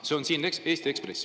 See on siin Eesti Ekspressis.